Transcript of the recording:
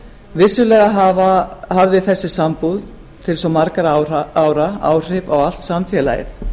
vissulega hafði þessi sambúð til svo margra ára áhrif á allt samfélagið